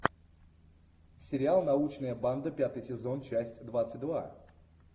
сериал научная банда пятый сезон часть двадцать два